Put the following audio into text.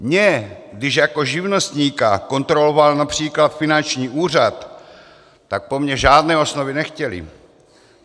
Mě když jako živnostníka kontroloval například finanční úřad, tak po mně žádné osnovy nechtěli.